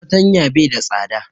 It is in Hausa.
Fartanya bai da tsada